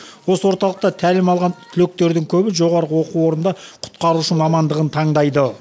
осы орталықта тәлім алған түлектердің көбі жоғарғы оқу орнында құтқарушы мамандығын таңдайды